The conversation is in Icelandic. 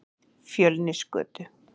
Fjölnisgötu